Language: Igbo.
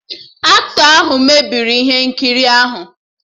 Aktọ ahụ mebiri ihe nkiri ahụ